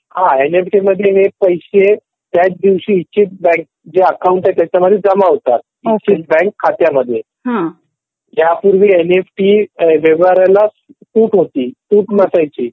N F T मध्ये पैसे त्याच दिवशी जी बँक त्या अकाउंट मध्ये जमा होतात बँक खात्यामध्ये यापूर्वी एनईएफटी व्यवहाराला सूट होती सूट नसायची.